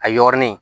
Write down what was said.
A yɔrɔnin